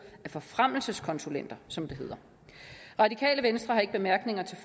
af forfremmelseskonsulenter som det hedder det radikale venstre har ikke bemærkninger til